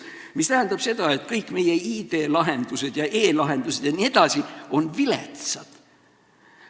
See tähendab seda, et kõik meie IT-lahendused ja e-lahendused jne on viletsad.